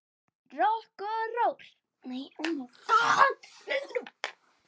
Rokk og ról.